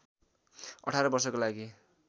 १८ वर्षको लागि